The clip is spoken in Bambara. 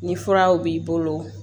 Ni furaw b'i bolo